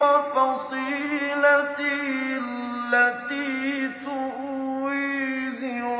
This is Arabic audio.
وَفَصِيلَتِهِ الَّتِي تُؤْوِيهِ